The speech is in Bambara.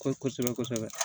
Ko kosɛbɛ kosɛbɛ kosɛbɛ